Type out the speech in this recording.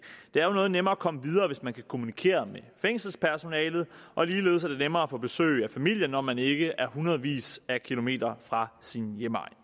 det er jo noget nemmere at komme videre hvis man kan kommunikere med fængselspersonalet og ligeledes er det nemmere at få besøg af familie når man ikke er hundredvis af kilometer fra sin hjemegn